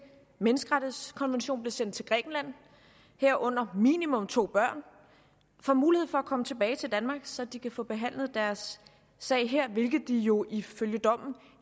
menneskerettighedskonvention blev sendt til grækenland herunder minimum to børn får mulighed for at komme tilbage til danmark så de kan få behandlet deres sag her hvilket de jo ifølge dommen